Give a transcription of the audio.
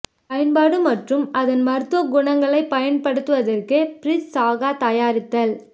பயன்பாடு மற்றும் அதன் மருத்துவ குணங்களைப் பயன்படுத்துவதற்கு பிர்ச் சாகா தயாரித்தல்